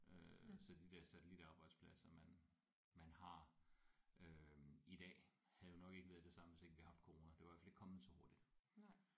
Øh så de der satellitarbejdspladser man man har øh i dag havde nok ikke været det samme hvis ikke vi havde haft corona det var i hvert fald ikke kommet så hurtigt